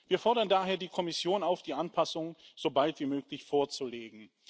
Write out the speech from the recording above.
Wir fordern daher die Kommission auf, die Anpassung sobald wie möglich vorzulegen.